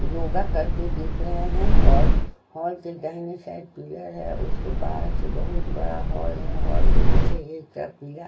योगा करते दिख रहे हैं और हॉल के दाहिनी साइड पिलर है उसके बाद से बहुत बड़ा हॉल है हॉल के पीछे एक तरफ--